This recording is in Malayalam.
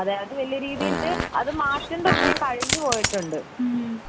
അതെ അത് വലിയ രീതിയിൽ അത് മാറ്റേണ്ട സമയം കഴിഞ്ഞുപോയിട്ടുണ്ട്